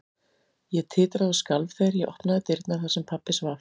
Ég titraði og skalf þegar ég opnaði dyrnar þar sem pabbi svaf.